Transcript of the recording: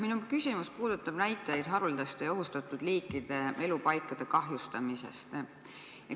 Minu küsimus puudutab näitajaid haruldaste ja ohustatud liikide elupaikade kahjustamise kohta.